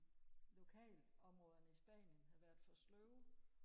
lokalområderne i spanien havde været for sløve